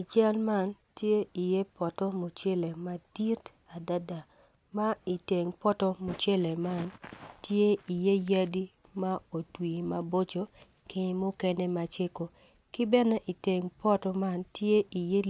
I cal man tye poto mucele madit adada ma i teng poto mucele man tye iye yadi ma otwi maboco ki mukene macego ki bene i teng poto man tye